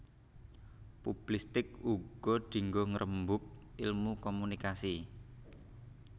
Publistik uga dinggo ngrembug Ilmu Komunikasi